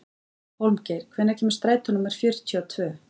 Hólmgeir, hvenær kemur strætó númer fjörutíu og tvö?